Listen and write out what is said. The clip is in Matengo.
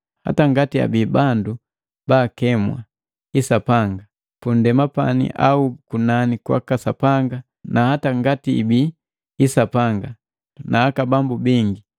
Hata ngati abii bandu bakemwa, “hisapanga” pundema au kunani kwaka Sapanga na hata ngati hibii “hisapanga” na “aka bambu” bingi,